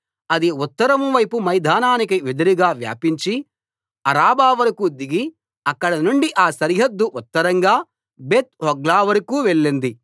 అది ఉత్తరం వైపు మైదానానికి ఎదురుగా వ్యాపించి అరాబావరకూ దిగి అక్కడనుండి ఆ సరిహద్దు ఉత్తరంగా బేత్‌హోగ్లా వరకూ వెళ్ళింది